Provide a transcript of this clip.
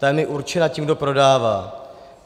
Ta je mi určena tím, kdo prodává.